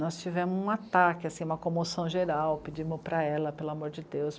Nós tivemos um ataque, uma comoção geral, pedimos para ela, pelo amor de Deus,